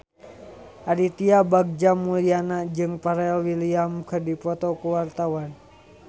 Aditya Bagja Mulyana jeung Pharrell Williams keur dipoto ku wartawan